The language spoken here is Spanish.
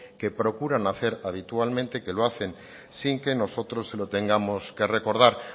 que procuran hacer habitualmente que lo hacen sin que nosotros se lo tengamos que recordar